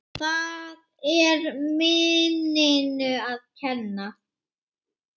Það er minninu að kenna.